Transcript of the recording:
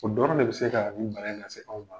O dɔrɔn de bɛ se k ka bana in lase aw ma.